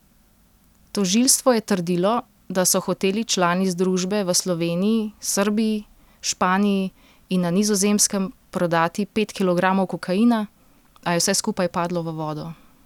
Tožilstvo je trdilo, da so hoteli člani združbe v Sloveniji, Srbiji, Španiji in na Nizozemskem prodati pet kilogramov kokaina, a je vse skupaj padlo v vodo.